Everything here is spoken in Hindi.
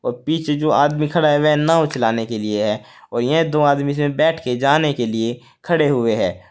पीछे जो आदमी खड़ा है वह नाव चलाने के लिए है और यह दो आदमी से बैठ के जाने के लिए खड़े हुए है।